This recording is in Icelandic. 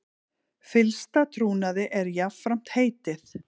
Fyllsta trúnaði er jafnframt heitið